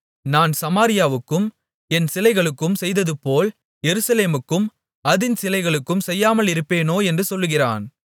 நான் சமாரியாவுக்கும் அதின் சிலைகளுக்கும் செய்ததுபோல் எருசலேமுக்கும் அதின் சிலைகளுக்கும் செய்யாமலிருப்பேனோ என்று சொல்கிறான்